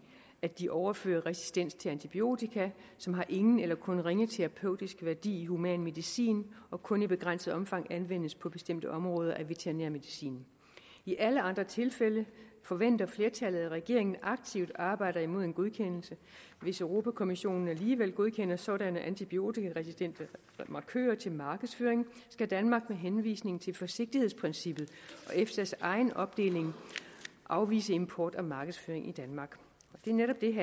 at de overfører resistens til antibiotika som har ingen eller kun ringe terapeutisk værdi i human medicin og kun i begrænset omfang anvendes på bestemte områder af veterinær medicin i alle andre tilfælde forventer flertallet at regeringen aktivt arbejder imod en godkendelse hvis europa kommissionen alligevel godkender sådanne antibiotikaresistente markører til markedsføring skal danmark med henvisning til forsigtighedsprincippet og efsa’s egen opdeling afvise import og markedsføring i danmark det er netop det